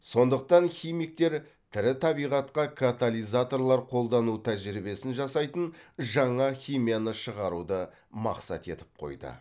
сондықтан химиктер тірі табиғатқа катализаторлар қолдану тәжірибесін жасайтын жаңа химияны шығаруды мақсат етіп қойды